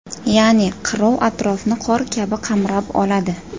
Ya’ni qirov atrofni qor kabi qamrab oladi.